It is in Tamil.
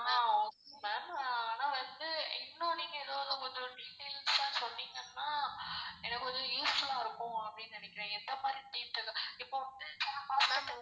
ஆஹ் okay ma'am ஆனா வந்து இன்னும் நீங்க இதோட கொஞ்சம் details ஆ சொன்னிங்கனா எனக்கு வந்து useful ஆ இருக்கும் அப்டினு நினைக்குறேன் எந்த மாதிரி teeth இப்போ வந்து